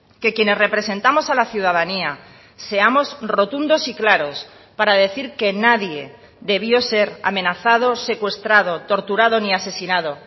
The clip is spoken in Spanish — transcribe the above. que quienes representamos a la ciudadanía seamos rotundos y claros para decir que nadie debió ser amenazado secuestrado torturado ni asesinado